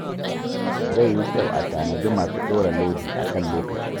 Zai yi kyau a tanadi masu ɗora lodi a kan lokaci.